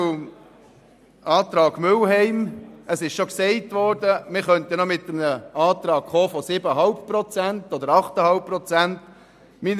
Zum Antrag Mühlheim: Es ist bereits erwähnt worden, dass wir noch einen Antrag auf 7,5 Prozent oder 8,5 Prozent bringen könnten.